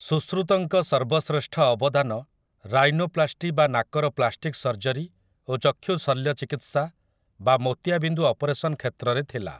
ସୂଶୃତଙ୍କ ସର୍ବଶ୍ରେଷ୍ଠ ଅବଦାନ ରାଇନୋପ୍ଲାଷ୍ଟି ବା ନାକର ପ୍ଲାଷ୍ଟିକ ସର୍ଜରୀ ଓ ଚକ୍ଷୁ ଶଲ୍ୟ ଚିକିତ୍ସା ବା ମୋତିଆ ବିନ୍ଦୁ ଅପରେସନ କ୍ଷେତ୍ରରେ ଥିଲା ।